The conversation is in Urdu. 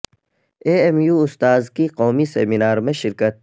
اے ایم یو استاذ کی قومی سیمینار میں شرکت